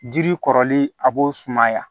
Jiri kɔrɔli a b'o sumaya